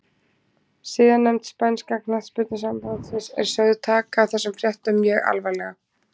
Siðanefnd spænska knattspyrnusambandsins er sögð taka þessum fréttum mjög alvarlega.